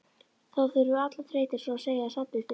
Þá hurfu allar þrautir svo að segja samstundis.